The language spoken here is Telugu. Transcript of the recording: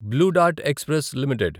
blue Dart Express limited